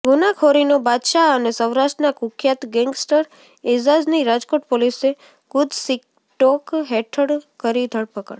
ગુનાખોરીનો બાદશાહ અને સૌરાષ્ટ્રના કુખ્યાત ગેંગસ્ટર એઝાઝની રાજકોટ પોલીસે ગુજસિટોક હેઠળ કરી ધરપકડ